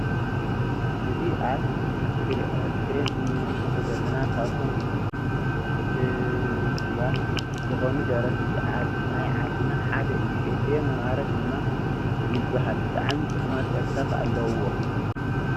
እዚ አብ አስክሪን እንምልከቶ ዘለና ካብቶም ህቡባት ዝኮኑ ደረፍቲ ናይ ዓድና ሓደ እዩ::ኤፍረም አማረ ደማ ይበሃል ብጣዕሚ ጡዕማት ደርፍታት አለዎ::